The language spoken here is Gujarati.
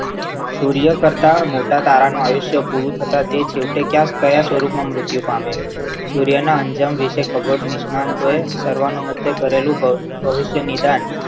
ચોરીઓ કરતા મોટા તારાનું આયુષ્ય પૂરું થતા તે છેવટે ક્યાં સ્વરૂપમાં મુર્ત્યું પામ્યા સૂર્યના અંજામ વિશે ખબર નિષ્ણાત હોય સર્વાનુમતે કરેલું હોય ભવિષ્ય નિદાન